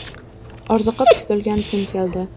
Orziqib kutilgan kun keldi.